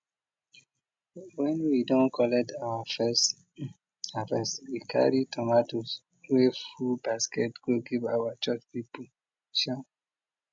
wen we don collect our first um harvest we carry tomatoes wey full basket go give our church people um